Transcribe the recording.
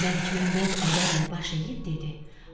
Məlikməmməd ədəblə baş əyib dedi: